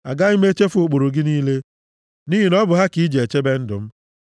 Agaghị m echefu ụkpụrụ gị niile, nʼihi na ọ bụ ha ka i ji chebe ndụ m.